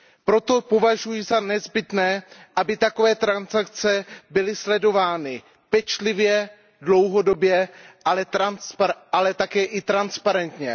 Proto považuji za nezbytné, aby takové transakce byly sledovány pečlivě a dlouhodobě, ale také i transparentně.